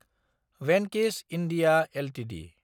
भेंकि'स (इन्डिया) एलटिडि